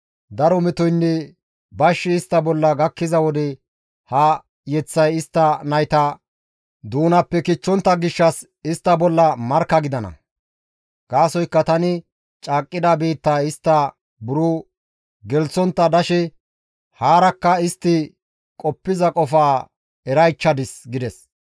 Daro metoynne bashshi istta bolla gakkiza wode ha yeththay istta nayta doonappe kichchenna gishshas istta bolla markka gidana. Gaasoykka tani caaqqida biittaa istta buro gelththontta dashe haarakka istti qoppiza qofaa eraychchadis» gides.